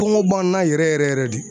Kɔngɔ b'an na yɛrɛ yɛrɛ yɛrɛ de.